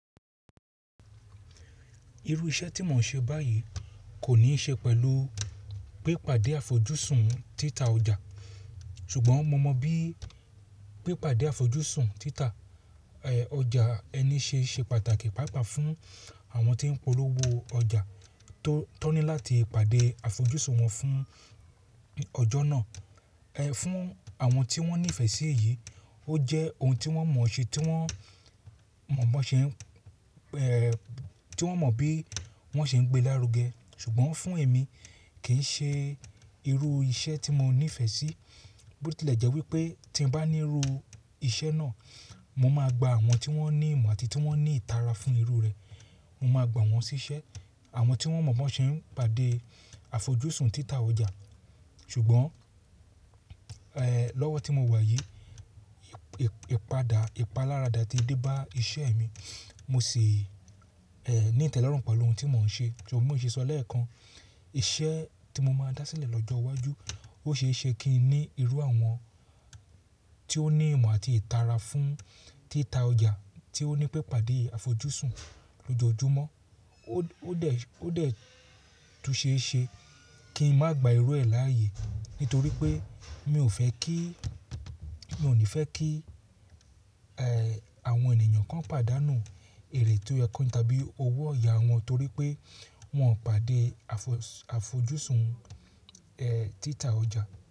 Irú iṣẹ́ tí mò ń ṣe báyìí kò ní ṣe pẹ̀lú pé pàdé àfojúsùn títà ọjà, sùgbọ́n mo mọ bí pípàdé àfojúsùn títà ọjà ẹni se se pàtàkì pàápàá fún àwọn tí ń polówó ọjà tóní láti pàdé àfojúsùn wọn fún ọjọ́ náà. Ẹ, fún àwọn tí wọ́n nífẹ̀ẹ́ sí èyí, ó jẹ́ ohun tí wọ́n mọ̀ ṣe, tí wọ́n mọ̀ mọ́ ṣẹ́ ẹ̀, tí wọ́n mọ̀ bí wọ́n ṣe ń gbé lárugẹ. Ṣùgbọ́n fún èmi, kì í ṣe irú iṣẹ́ tí mo nífẹ̀ẹ́ sí. Bí ó tilẹ̀ jẹ́ wípé tí n bá ní irú iṣẹ́ náà, mo máa gba àwọn tí wọ́n ní ìmọ̀ àti tí wọ́n ní ìtara fún irú rẹ̀. Mo máa gbà wọ́n ṣíṣẹ́. Àwọn tí wọ́n mọ̀ bí wọ́n ṣe ń pàdé àfojúsùn títà ọjà. Ṣùgbọ́n, ẹ, lọ́wọ́ tí mo wà yìí, ìpadà ìpalára dà ti dé bá iṣẹ́ mi. Mo sì, ẹ, ní ìtẹ́lọ́rùn pẹ̀lú ohun tí mò ń ṣe. Ṣùgbọ́n mo ṣe sọ lẹ́ẹ̀kan. Iṣẹ́ tí mo máa dá sílẹ̀ lọ́jọ́ iwájú, ó ṣe é ṣe kí i ní irú àwọn tí ó ní ìmọ̀ àti ìtara fún títà ọjà tí ó ní pé pàdé àfojúsùn lójoojúmọ́. Ó dẹ̀, ó dẹ̀ tú ṣéẹ̀ ṣe kí n má gba irú ẹ láàyè. Nítorí pé mi ò fẹ́ kí, mi ò ní fẹ́ kí, ẹ, àwọn ènìyàn kan pàdánù èrè tí ó kán jẹ tàbí owó ọ̀yà wọn torí pé wọ́n pàdé àfojúsùn, ẹ, títà ọjà.